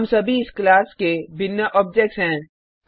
हम सभी इस क्लास के भिन्न ऑब्जेक्ट्स हैं